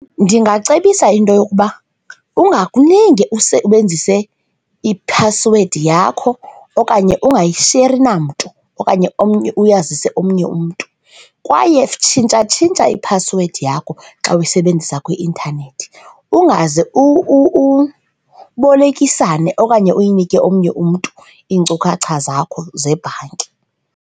Ndingacebisa into yokuba ungakulinge usebenzise iphasiwedi yakho okanye ungayisheri namntu okanye omnye, uyazise omnye umntu. Kwaye tshintshatshintsha iphasiwedi yakho xa uyisebenzisa kwi-intanethi ungaze ubolekisana okanye uyinike omnye umntu iinkcukacha zakho zebhanki.